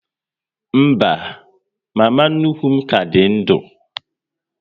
Mba, mama nnukwu m ka dị ndu